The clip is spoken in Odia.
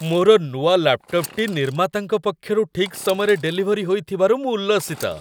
ମୋର ନୂଆ ଲାପ୍‌ଟପ୍‌ଟି ନିର୍ମାତାଙ୍କ ପକ୍ଷରୁ ଠିକ୍ ସମୟରେ ଡେଲିଭରୀ ହୋଇଥିବାରୁ ମୁଁ ଉଲ୍ଲସିତ।